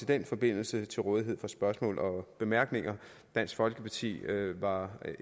den forbindelse til rådighed for spørgsmål og bemærkninger dansk folkeparti var